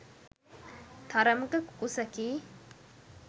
තරමක කුකුසකි.